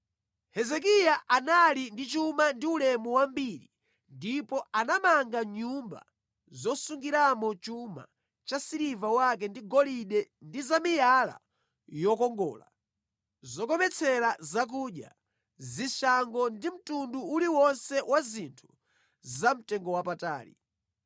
Hezekiya anali ndi chuma ndi ulemu wambiri ndipo anamanga nyumba zosungiramo chuma cha siliva wake ndi golide ndi za miyala yokongola, zokometsera zakudya, zishango ndi mtundu uliwonse wa zinthu zamtengowapatali.